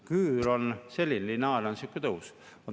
Küür on selline ja lineaarne on selline tõus .